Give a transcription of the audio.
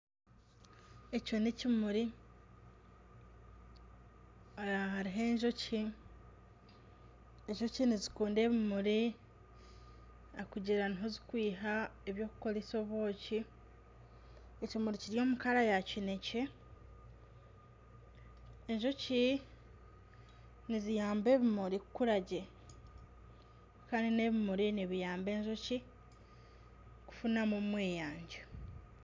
Ekyo n'ekimuri hariho enjoki, enjoki nizikunda ebimuri ahabw'okugira niho zikwiha eby'okukoresa obwoki. Ekimuri kiri omu kara ya kinekye, enjoki niziyamba ebimuri kukura gye kandi n'ebimuri nibiyamba enjoki kufunamu omweyangye.